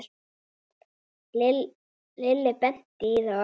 Lilli benti í þá átt.